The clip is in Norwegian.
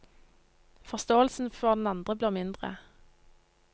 Forståelsen for den andre blir mindre.